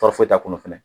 Tafo t'a kɔnɔ fɛnɛ